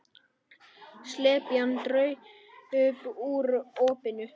Slepjan draup úr opinu.